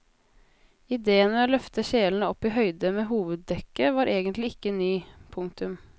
Ideen med å løfte kjelene opp i høyde med hoveddekket var egentlig ikke ny. punktum